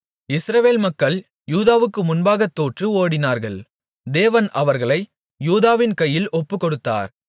இஸ்ரவேல் மக்கள் யூதாவுக்கு முன்பாகத் தோற்று ஓடினார்கள் தேவன் அவர்களை யூதாவின் கையில் ஒப்புக்கொடுத்தார்